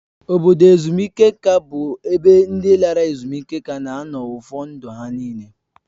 Obodo ezumike nka bụ ebe ndị lara ezumike nka na-anọ ụfọ ndụ ha nịle